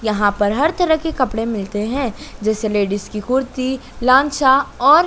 यहां पर हर तरह के कपड़े मिलते हैं जैसे लेडिस की कुर्ती लान्छा और--